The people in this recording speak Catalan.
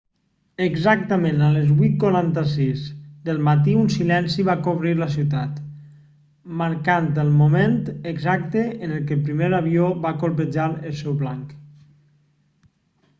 exactament a les 8:46 del matí un silenci va cobrir la ciutat marcant el moment exacte en què el primer avió va colpejar el seu blanc